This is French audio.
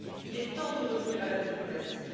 Il est temps de revenir à la diplomatie.